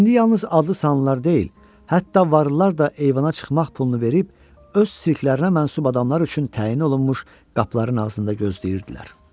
İndi yalnız adlı-sanlılar deyil, hətta varlılar da eyvana çıxmaq pulunu verib öz silklərinə məxsus adamlar üçün təyin olunmuş qapıların ağzında gözləyirdilər.